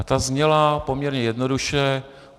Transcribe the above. A ta zněla poměrně jednoduše.